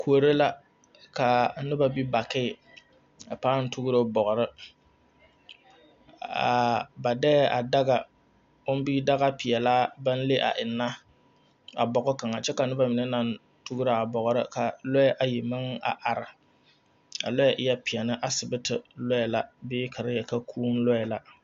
Kuori la ka noba be bakii a pãã tugro bɔgre ba deɛ a daga o bi dagepeɛlaa baŋ le a enna a bɔge kaŋa kyɛ ka noba mine naŋ tugro a bɔgre ka loɛ ayi meŋ naŋ are a loɛ eɛ peɛne asibiti loɛ la bee ka te yeli ka kūū loɛ la.